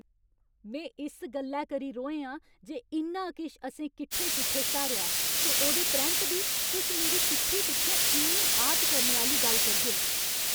में इस गल्लै करी रोहें आं जे इन्ना किश असें किट्ठे किट्ठे स्हारेआ ऐ ते ओह्दे परैंत बी तुस मेरी पिट्ठी पिच्छें इन्नी आह्त करने आह्‌ली गल्ल करगे।